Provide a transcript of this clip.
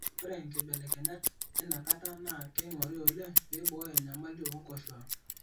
Ore nkibelekenyat einakata naa keing'ori oleng peibooyo enyamali oo Nkoshuak.